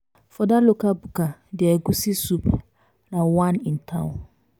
for dat local buka there egusi soup na one in town.